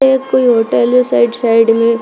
एक कोई होटल है साइड साइड में--